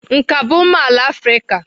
Nka bụ mma ala Afrịka.